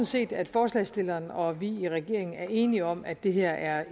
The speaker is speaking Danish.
set at forslagsstillerne og vi i regeringen er enige om at det her er